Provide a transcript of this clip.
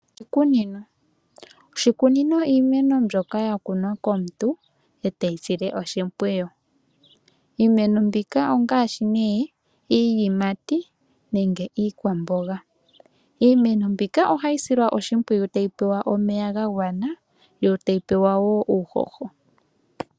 Oshikunino, oshikunino iimeno mbyoka ya kunwa komuntu eteyi sile oshimpwiyu. Iimeno mbika ongaashi nee; iiyimati nenge iikwamboga. Iimeno mbika ohayi silwa oshimpwiyu tayi pewa omeya ga gwana, yo tayi pewa wo uuhoho.